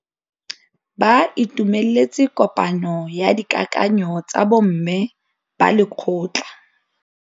Ba itumeletse kôpanyo ya dikakanyô tsa bo mme ba lekgotla.